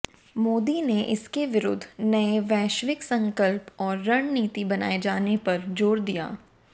मोदी ने इसके विरुद्ध नए वैश्विक संकल्प और रणनीति बनाए जाने पर जोर दिया